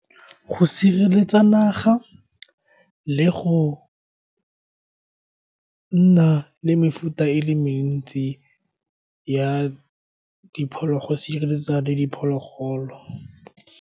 Go sireletsa naga le go nna le mefuta e le mentsi ya diphologolo le diphologolo.